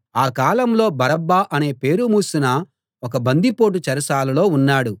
ఆ కాలంలో బరబ్బా అనే పేరు మోసిన ఒక బందిపోటు చెరసాలలో ఉన్నాడు